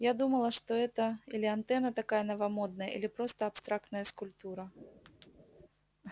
я думала что это или антенна такая новомодная или просто абстрактная скульптура